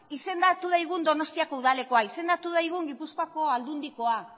izendatu daigun donostiako udalekoa izendatu daigun gipuzkoako aldundikoa